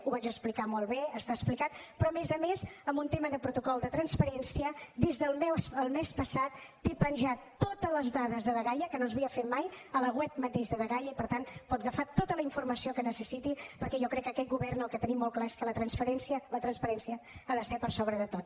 ho vaig explicar molt bé està explicat però a més a més en un tema de protocol de transparència des del mes passat té penjades totes les dades de dgaia que no s’havia fet mai a la web mateixa de dgaia i per tant pot agafar tota la informació que necessiti perquè jo crec que aquest govern el que tenim molt clar és que la transparència ha de ser per sobre de tot